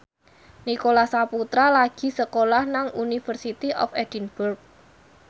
Nicholas Saputra lagi sekolah nang University of Edinburgh